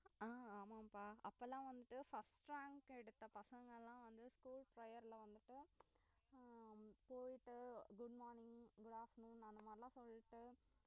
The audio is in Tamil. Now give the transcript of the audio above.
அஹ் ஆமாம்ப்பா அப்பெல்லாம் வந்துட்டு first rank எடுத்த பசங்களாம் வந்து school prayer ல அஹ் போயிட்டு good morning good afternoon அந்த மாறிலாம் சொல்லிட்டு